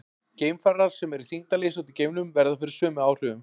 Geimfarar sem eru í þyngdarleysi úti í geimnum verða fyrir sömu áhrifum.